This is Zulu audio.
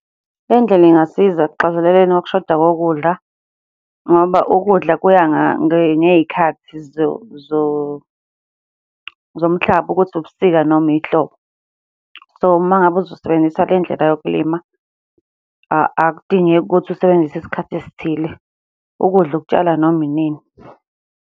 Le ndlela ingasiza ekuxazeleleni ukushoda kokudla, ngoba ukudla kuya ngey'khathi zomhlaba ukuthi ubusika noma ihlobo. So, uma ngabe uzosebenzisa le ndlela yokulima, akudingeki ukuthi usebenzise isikhathi esithile, ukudla ukutshala noma inini.